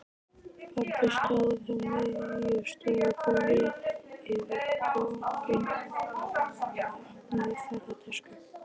Pabbi stóð á miðju stofugólfi yfir opinni ferðatösku.